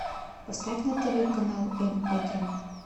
поставь на тв канал м один